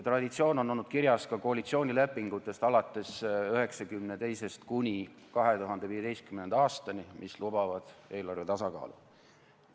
Traditsioon oli alates 1992. aastast kuni 2015. aastani kirjas ka koalitsioonilepingutes, mis lubasid eelarve tasakaalu.